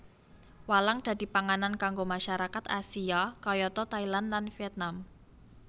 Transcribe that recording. Walang dadi panganan kanggo masyarakat Asia kayata Thailand lan Vietnam